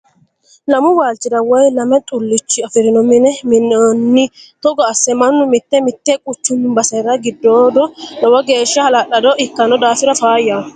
Lamu waalchiha woye lame xulicho afirino mine mi'nanno togo asse mannu mite mite quchumu basera giddoodo lowo geeshsha hala'lado ikkano daafira faayyaho.